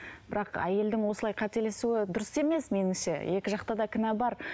бірақ әйелдің осылай қателесуі дұрыс емес меніңше екі жақта да кінә бар